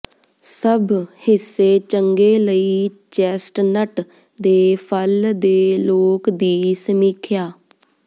ਸਭ ਹਿੱਸੇ ਚੰਗੇ ਲਈ ਚੈਸਟਨਟ ਦੇ ਫਲ ਦੇ ਲੋਕ ਦੀ ਸਮੀਖਿਆ